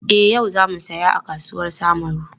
E, yau za mu saya a kasuwar Samaru.